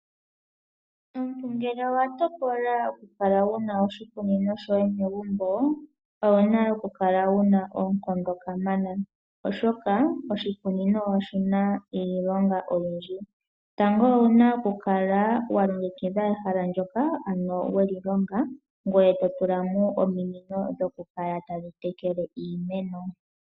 Omuntu ngele owa tokola oku kala wuna oshikunino shoye megumbo, owuna oku kala wuna oonkondo kamana, oshoka oshikunino oshina iilonga oyindji. Tango owuna okukala walongekidha ehala ndyoka ano weli longa, ngoye totulamo ominino dhoku kala tadhi tekele iimeno.